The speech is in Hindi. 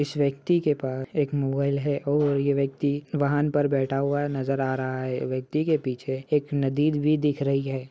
इस व्यक्ति के पास एक मोबाइल है और यह व्यक्ति वाहन पर बैठा हुआ नज़र आ रहा है। व्यक्ति के पीछे एक नदी भी दिख रही है।